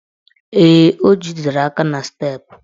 Ee, o jidere aka n' steepụ